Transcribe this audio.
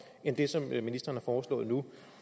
end den som ministeren har foreslået nu